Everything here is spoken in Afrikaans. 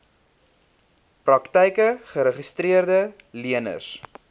praktyke geregistreede leners